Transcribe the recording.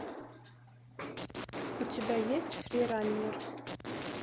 у тебя есть фрираннер